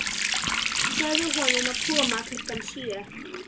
Segðu honum að koma klukkan sjö.